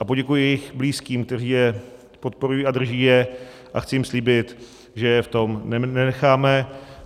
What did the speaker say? A poděkuji jejich blízkým, kteří je podporují a drží je, a chci jim slíbit, že je v tom nenecháme.